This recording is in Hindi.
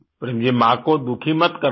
प्रेम जी माँ को दुखी मत करना